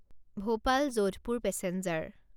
Bhopal Jodhpur passenger